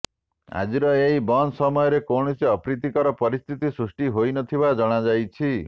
ଆଜିର ଏହି ବନ୍ଦ ସମୟରେ କୌଣସି ଅପ୍ରିତିକର ପରିସ୍ଥିତି ସୃଷ୍ଟି ହୋଇନଥିବା ଜଣାଯାଇଛି